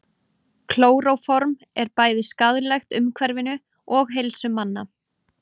klóróform er bæði skaðlegt umhverfinu og heilsu manna